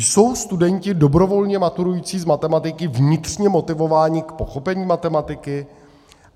Jsou studenti dobrovolně maturující z matematiky vnitřně motivováni k pochopení matematiky?